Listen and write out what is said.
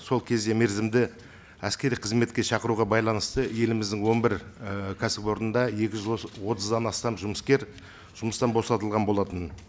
сол кезде мерзімді әскери қызметке шақыруға байланысты еліміздің он бір і кәсіпорында екі жүз отыздан астам жұмыскер жұмыстан босатылған болатын